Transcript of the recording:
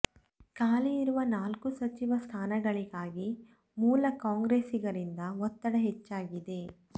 ಖಾಲಿ ಇರುವ ನಾಲ್ಕು ಸಚಿವ ಸ್ಥಾನಗಳಿಗಾಗಿ ಮೂಲ ಕಾಂಗ್ರೆಸ್ಸಿಗರಿಂದ ಒತ್ತಡ ಹೆಚ್ಚಾಗಿದೆ